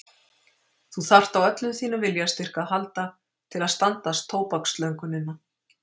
Þú þarft á öllum þínum viljastyrk að halda til að standast tóbakslöngunina.